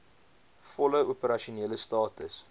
volle opersasionele status